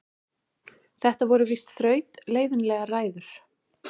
Þetta voru víst þrautleiðinlegar ræður.